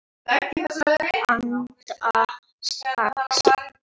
Handa sex